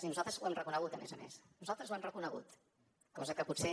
i nosaltres ho hem reconegut a més a més nosaltres ho hem reconegut cosa que potser